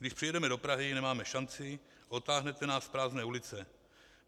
Když přijedeme do Prahy, nemáme šanci, odtáhnete nás z prázdné ulice."